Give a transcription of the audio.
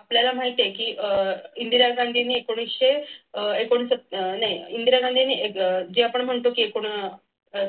आपल्याला माहिती आहे की अह इंदिरा गांधीने एकूण एकोणसत्तर नाही इंदिरा गांधीने जे आपण म्हणतो की एकूण